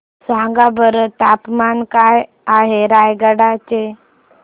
सांगा बरं तापमान काय आहे रायगडा चे